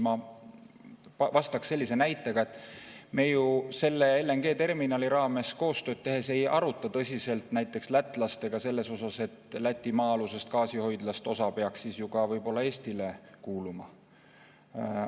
Ma tooksin sellise näite, et me ju selle LNG-terminali raames koostööd tehes ei aruta tõsiselt lätlastega selle üle, et Läti maa-alusest gaasihoidlast osa peaks ju ka ehk Eestile kuuluma.